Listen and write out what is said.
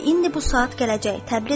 Bəli, indi bu saat gələcək.